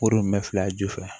Koro bɛ fila ju fɛ